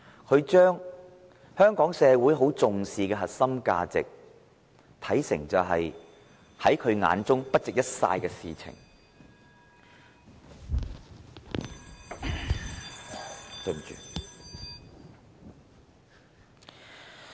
他將香港社會重視的核心價值，視為不值一哂的事情......